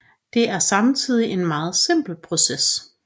Det er samtidig en meget simpel proces